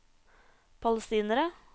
palestinere